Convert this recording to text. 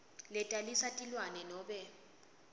letalisa tilwane nobe